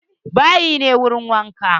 Bayi ne wurin wanka.